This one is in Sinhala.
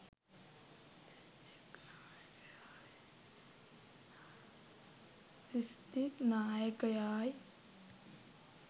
දිස්ත්‍රික් නායකයායි.